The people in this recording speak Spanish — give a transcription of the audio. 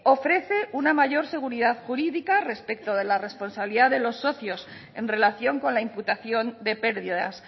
ofrece una mayor seguridad jurídica respecto de la responsabilidad de los socios en relación con la imputación de pérdidas